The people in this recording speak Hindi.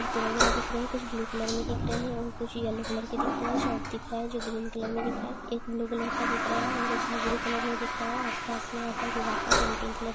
ते वगेरा दिख रहे है कुछ ब्लू कलर में दिख रहे है और कुछ येलो कलर के दिख रहे है शर्ट दिख रहा है जो ग्रीन कलर में दिख रहा है एक ब्लू कलर का दिख रहा है एक गाजरी कलर में दिख रहा है आस -पास में यहाँ का पेंटिंग कलर--